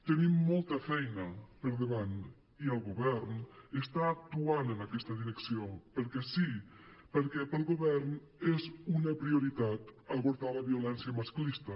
tenim molta feina per davant i el govern està actuant en aquesta direcció perquè sí perquè per al govern és una prioritat abordar la violència masclista